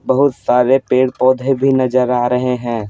बहुत सारे पेड़-पौधे भी नजर आ रहे हैं।